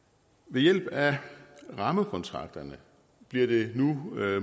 ved hjælp af rammekontrakterne bliver det nu